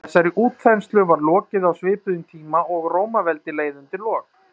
þessari útþenslu var lokið á svipuðum tíma og rómaveldi leið undir lok